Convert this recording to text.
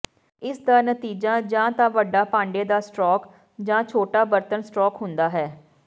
ਇਸ ਦਾ ਨਤੀਜਾ ਜਾਂ ਤਾਂ ਵੱਡਾ ਭਾਂਡੇ ਦਾ ਸਟ੍ਰੋਕ ਜਾਂ ਛੋਟਾ ਬਰਤਨ ਸਟ੍ਰੋਕ ਹੁੰਦਾ ਹੈ